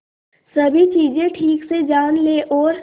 सभी चीजें ठीक से जान ले और